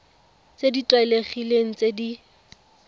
tse di tlwaelegileng tse di